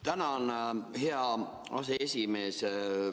Tänan, hea aseesimees!